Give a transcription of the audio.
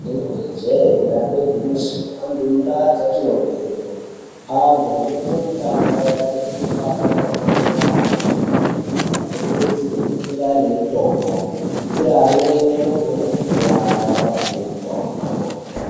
Rinenge jee, dambe igwimyiso anthu mundaa dzatinobveyo, anthu anoite mitambo yakaita sekukaba mabhora ,kutomuka-tomuka anokurudzirwa kunga ane mutombo ,kuitira amweni anogona kukuwara oape mutombo.